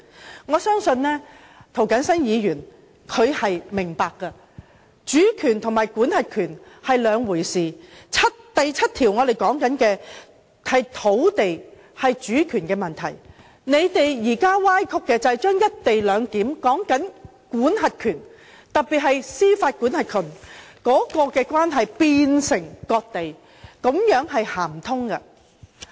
就此，我相信涂謹申議員是明白的，主權和管轄權是兩回事，第七條所說的是土地和主權問題，他們現時所歪曲的，就是想把"一地兩檢"的管轄權，特別是把司法管轄權的關係變為割地，這是說不通的。